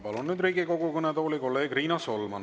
Palun nüüd Riigikogu kõnetooli kolleeg Riina Solmani.